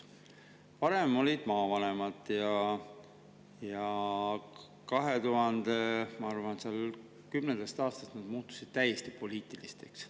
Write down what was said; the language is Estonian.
Varem olid maavanemad, kes, ma arvan, 2010. aastast muutusid täiesti poliitilisteks.